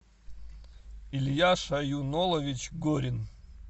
илья шаюнолович горин